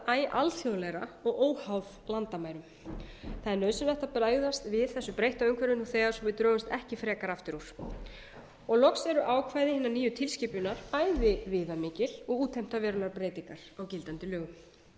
æ alþjóðlegra og óháð landamærum það er nauðsynlegt að bregðast við þessu breytta umhverfi nú þegar svo við drögumst ekki frekar aftur úr loks eru ákvæði hinnar nýju tilskipunar bæði viðamikil og útheimta verulegar breytingar á gildandi lögum